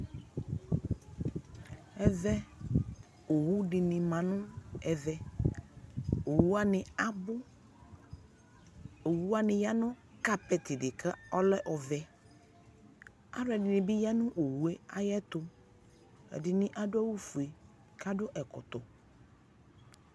Ɛvɛ, owʋ di ni ma nʋ ɛvɛ, owʋ wani abʋ Owʋ wani ya nʋ kapɛti di kʋ ɔlɛ ɔvɛ Alʋɛdini bi ya nʋ owʋ yɛ ayɛtʋ Ɛdini adʋ awʋ fue kʋ adʋ ɛkɔtɔ